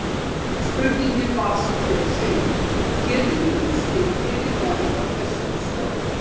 Upphaflega spurningin var sem hér segir: Getið þið útskýrt fyrirbærið á þessari slóð?